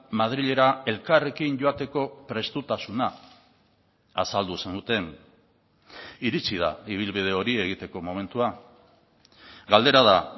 madrilera elkarrekin joateko prestutasuna azaldu zenuten iritsi da ibilbide hori egiteko momentua galdera da